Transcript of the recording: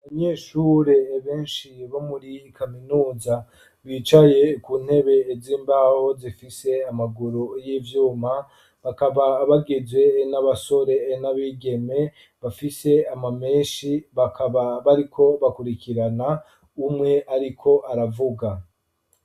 Abanyeshure beshi bo muri kaminuza bicaye ku ntebe z'imbaho zifise amaguru y'ivyuma bakaba bagizwe n'abasore n'abigeme bafise ama meshi bakaba bariko bakurikirana umwe ariko aravuga.